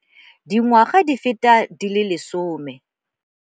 Dingwaga di feta di le 10.